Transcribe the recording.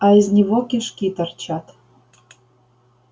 а из него кишки торчат